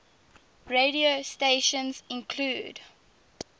radio stations include